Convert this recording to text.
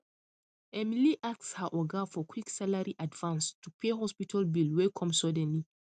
emily ask her oga for quick salary advance to pay hospital bill wey come suddenly